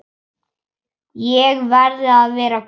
Ég verði að vera glöð.